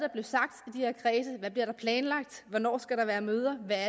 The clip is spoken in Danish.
der bliver planlagt hvornår der skal være møder